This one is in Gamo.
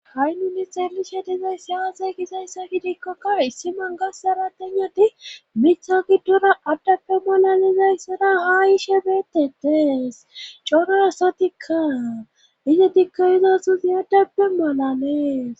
Ha'i nui xelishe dizayssi yaasey gizayssa gidikkokka issiman gassara tennoti mitha gidora addappe mala lizayssara haa iishe beetedees cona sotikka izi diggayizasuzi addappe malales